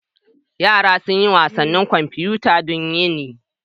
Yara sun yi wasannin kwamfuta duk yini.